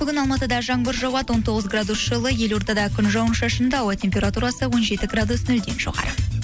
бүгін алматыда жаңбыр жауады он тоғыз градус жылы елордада күн жауын шашынды ауа температурасы он жеті градус нөлден жоғары